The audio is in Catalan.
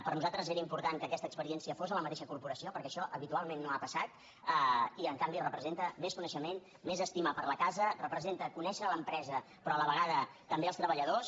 per nosaltres era important que aquesta experiència fos a la mateixa corporació perquè això habitualment no ha passat i en canvi representa més coneixement més estima per la casa representa conèixer l’empresa però a la vegada també els treballadors